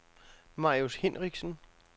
Marius Hinrichsen